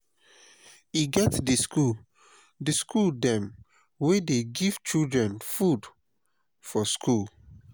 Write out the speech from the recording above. e get di skool di skool dem wey dey give children food for skool.